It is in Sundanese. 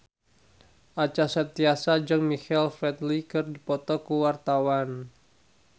Acha Septriasa jeung Michael Flatley keur dipoto ku wartawan